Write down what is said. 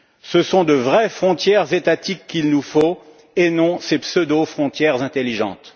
Ce sont de vraies frontières étatiques qu'il nous faut et non ces pseudo frontières intelligentes.